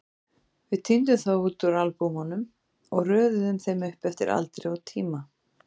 Við tíndum þær út úr albúmunum og röðuðum þeim upp eftir aldri og tíma.